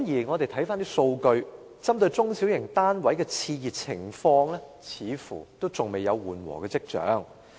我們翻查數據，針對中小型單位的熾熱情況，似乎仍然未有緩和跡象。